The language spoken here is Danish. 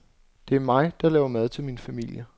Det er mig, der laver mad til min familie.